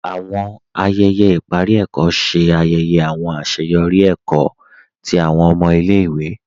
Àwọn ayẹyẹ iparí èkó ṣè ayẹyẹ àwọn aṣeyọri èkó tí àwọn ọmọ ilẹ̀-ìwé.